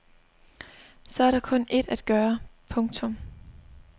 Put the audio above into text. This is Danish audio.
Så er der kun ét at gøre. punktum